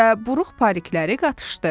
Və buruq parikləri qatışdı.